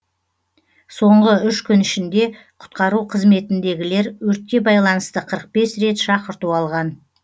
соңғы үш күн ішінде құтқару қызметіндегілер өртке байланысты қырық бес рет шақырту алған